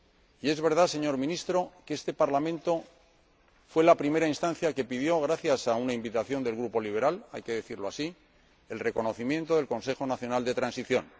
Y es verdad, señor Ministro, que este Parlamento fue la primera instancia que pidió, gracias a una invitación del Grupo Liberal —hay que decirlo así—, el reconocimiento del Consejo Nacional de Transición.